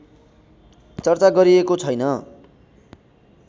चर्चा गरिएको छैन